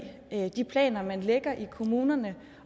de planer man lægger i kommunerne